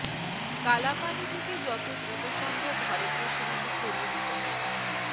কালাপানি থেকে যত দ্রুত সম্ভব ভারতীয় সেনাকে সরিয়ে নিতে হবে